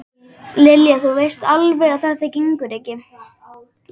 Lilja, þú veist alveg að þetta gengur ekki